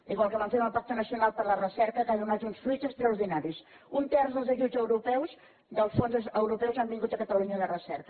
igual que vam fer amb el pacte nacional per a la recerca que ha donat uns fruits extraordinaris un terç dels ajuts europeus dels fons europeus han vingut a catalunya de recerca